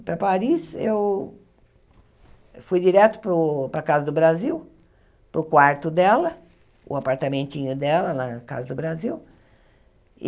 Para Paris, eu fui direto para o para a casa do Brasil, para o quarto dela, o apartamentinho dela lá na casa do Brasil.